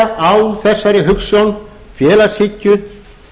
byggja á þessari hugsjón félagshyggju